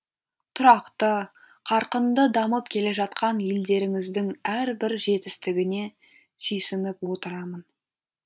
тұрақты қарқынды дамып келе жатқан елдеріңіздің әрбір жетістігіне сүйсініп отырамын